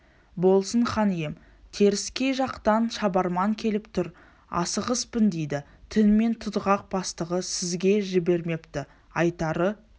болсын хан ием теріскей жақтан шабарман келіп тұр асығыспын дейді түнімен тұтғақ бастығы сізге жібермепті айтары